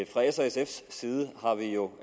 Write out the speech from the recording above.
fra s og sfs side har vi jo